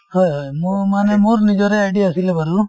হয় হয় মই মানে মোৰ নিজৰে id আছিলে বাৰু।